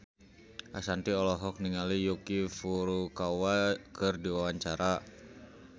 Ashanti olohok ningali Yuki Furukawa keur diwawancara